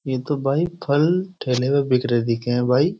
ये तो भाई फल ठेले में बिकर दिखे हैं भाई।